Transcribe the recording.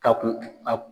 Ka kun a